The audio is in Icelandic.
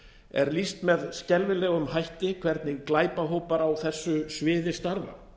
er lýst með skelfilegum hætti hvernig glæpahópar á þessu sviði starfa